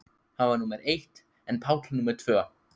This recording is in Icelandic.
Hann var númer eitt en Páll númer tvö.